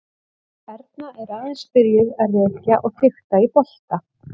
Erna er aðeins byrjuð að rekja og fikta í bolta.